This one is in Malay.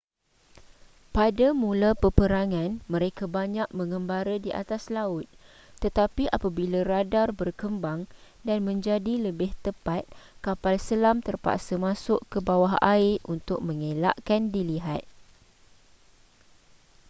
pada mula peperangan mereka banyak menggembara di atas laut tetapi apabila radar berkembang dan menjadi lebih tepat kapal selam terpaksa masuk ke bawah air untuk mengelakkan dilihat